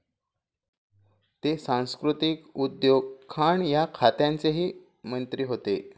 ते सांस्कृतीक, उद्योग, खाण या खात्यांचेही मंत्री होते.